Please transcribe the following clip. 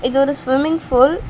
இது ஒரு swimming pool .